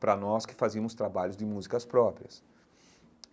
Para nós que fazíamos trabalhos de músicas próprias.